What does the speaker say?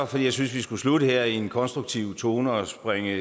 fordi jeg synes vi skal slutte her i en konstruktiv tone at springe